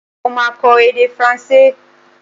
Mo máa kọ èdè faransé.